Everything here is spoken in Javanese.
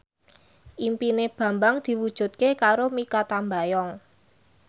impine Bambang diwujudke karo Mikha Tambayong